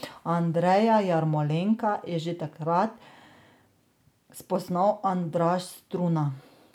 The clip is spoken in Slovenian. Andreja Jarmolenka je že takrat spoznal Andraž Struna.